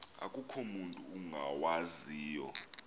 akukho mutu ungawaziyo